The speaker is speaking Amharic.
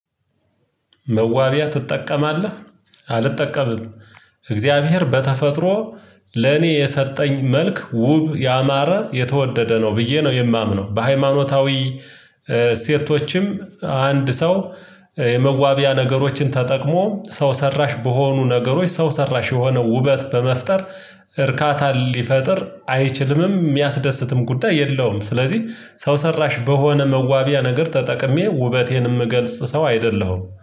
መዋቢያ ትጠቀማለህ? አልጠቀምም። እግዚአብሔር በተፈጥሮ ለኔ የሰጠኝ መልክ ውብ ያማረ የተወደደ ነው ብዬ ነው የማምነው በሃይማኖታዊ እሴቶች። አንድ ሰው የመዋቢያ ነገሮችን ተጠቅሞ ሰው ሰራሽ በሆኑ ነገሮች ሰው ሰራሽ የሆነ ውበት በመፍጠር እርካታን ሊፈጥር አይችልምም የሚያስደስትም ጉዳይ የለውም። ስለዚህ ሰው ሰራሽ በሆነ መዋቢያ ነገር ተጠቅሜ ውበቴንም እገልጽ ሰው አይደለሁም